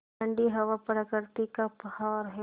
ठण्डी हवा प्रकृति का उपहार है